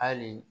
Hali